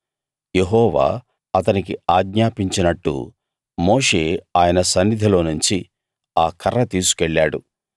యెహోవా అతనికి ఆజ్ఞాపించినట్టు మోషే ఆయన సన్నిధిలోనుంచి ఆ కర్ర తీసుకెళ్ళాడు